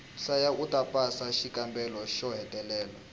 hlaya uta pasa xikambelo xo hetelela